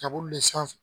Kaburu le sanfɛ